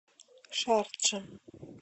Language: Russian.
шарджа